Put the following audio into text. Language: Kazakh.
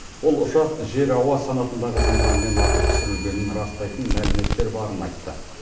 ол ұшақ жер ауа санатындағы зымыранмен атып түсірілгенін растайтын мәліметтер барын айтты